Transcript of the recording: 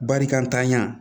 Barikatanya